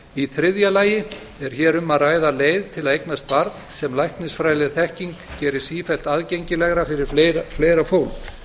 í þriðja lagi er hér um að ræða leið til að eignast barn sem læknisfræðileg þekking gerir sífellt aðgengilegra fyrir fleira fólk